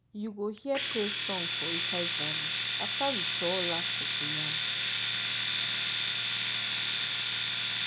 you go hear praise song from inside valley after we store last cocoyam.